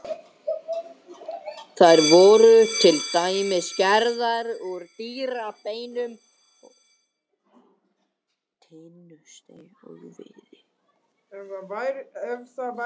Þær voru til dæmis gerðar úr dýrabeinum, tinnusteini og viði.